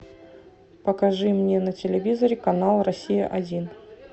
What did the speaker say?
покажи мне на телевизоре канал россия один